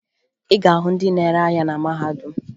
Ị ga-ahụ ndị na-ere ahịa na mahadum